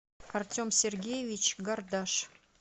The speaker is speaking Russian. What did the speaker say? артем сергеевич гардаш